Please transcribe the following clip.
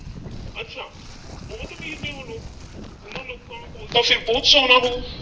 ਅੱਛਾ ਬਹੁਤ ਅਮੀਰ ਨੇਂ ਉਹ ਲੋਕ। ਉਨ੍ਹਾਂ ਲੋਕਾਂ ਕੋਲ ਤਾਂ ਫਿਰ ਬਹੁਤ ਸੋਨਾ ਹੋਊ।